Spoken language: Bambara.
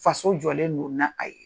Faso jɔlen don na a ye.